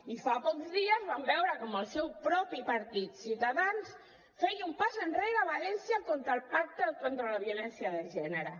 i fa pocs dies vam veure com el seu propi partit ciutadans feia un pas enrere a valència contra el pacte contra la violència de gènere